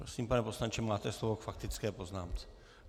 Prosím, pane poslanče, máte slovo k faktické poznámce.